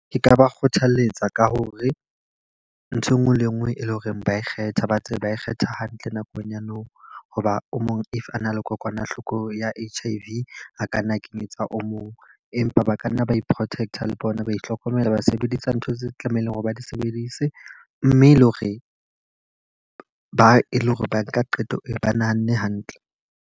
Ke ka ba kgothaletsa ka hore, nthwe nngwe le e nngwe e leng hore ba kgetha ba tsebe ba kgetha hantle nakong ya nou. Ho ba o mong if a na le kokwanahloko ya H_I_V a ka nna kenyetsa oo o mong. Empa ba ka nna ba i-protect le bona ba ihlokomela ba sebedisa ntho tse tlamehileng hore ba di sebedise. Mme le hore ba e le hore ba nka qeto e ba nahanne hantle.